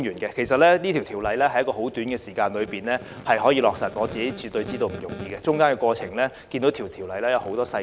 其實《條例草案》在極短的時間內完成審議，絕對不容易，《條例草案》涉及多項細節。